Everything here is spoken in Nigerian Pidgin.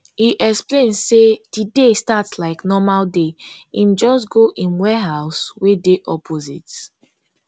e explain say di day start like normal day im just go im warehouse wey dey opposite